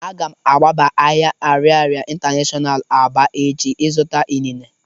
Agam agaba ahia Ariaria international Aba echi zuta inine.